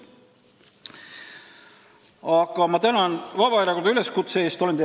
Aga ma tänan Vabaerakonda üleskutse eest!